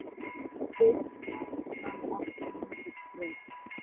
Finnst þér hann ekki mikið krútt?